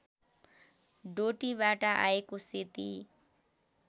डोटीबाट आएको सेती